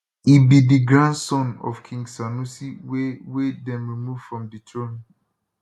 e be di grandson of king sanusi wey wey dem remove from di throne